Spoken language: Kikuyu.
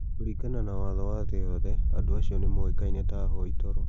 Kũringana na watho wa thĩ yothe andũ acio nĩ moĩkaine ta ahoi toro.